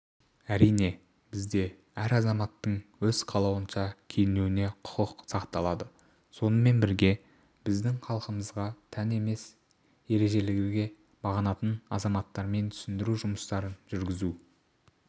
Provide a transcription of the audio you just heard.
әрине бізде әр азаматтың өз қалауынша киінуіне құқық сақталады сонымен бірге біздің халқымызға тән емес ережелерге бағынатын азаматтармен түсіндіру жұмыстарын жүргізу